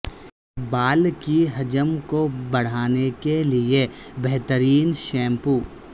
بال کی حجم کو بڑھانے کے لئے بہترین شیمپو